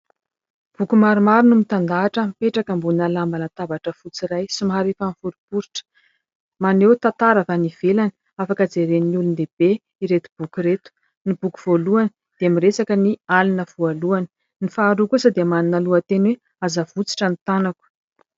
Boky maromaro no mitandahatra mipetraka ambony lamba latabatra fotsy iray somary efa miforiporitra. Maneho tantara avy any ivelany, afaka jeren'olon-dehibe ireto boky ireto. Ny boky voalohany dia miresaka ny alina voalohany, ny faharoa kosa dia manana lohateny hoe ''aza avotsitra ny tanako''.